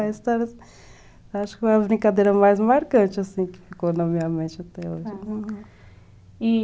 A história, acho que foi a brincadeira mais marcante, assim, que ficou na minha mente até hoje.